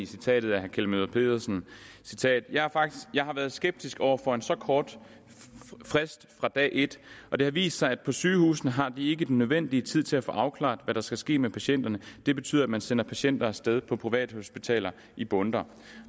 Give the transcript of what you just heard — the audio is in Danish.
citatet af herre kjeld møller pedersen jeg har været skeptisk over for en så kort frist fra dag et og det har vist sig at på sygehusene har de ikke den nødvendige tid til at få afklaret hvad der skal ske med patienten det betyder at man sender patienter af sted på privathospital i bundter